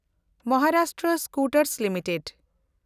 Maharashtra Scooters limited